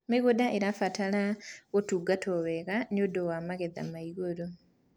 mĩgũnda irabatara motungata mega nĩũndũ wa magetha me igũrũ